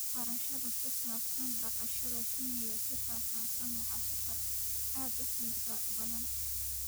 Barashada ku saabsan dhaqashada shinni si faahfaahsan waa safar aad u xiiso badan.